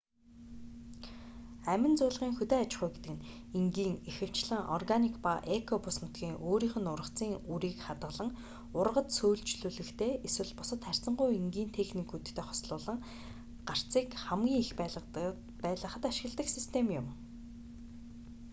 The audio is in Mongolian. амин зуулгын хөдөө аж ахуй гэдэг нь энгийн ихэвчлэн органик ба эко бүс нутгийн өөрийнх нь ургацын үрийг хадгалан ургац сөөлжлүүлэхтэй эсвэл бусад харьцангуй энгийн техникүүдтэй хослуулан гарцыг хамгийн их байлгахад ашигладаг систем юм